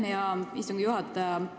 Aitäh, hea istungi juhataja!